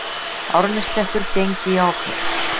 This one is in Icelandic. Árneshreppur gengi í ábyrgð.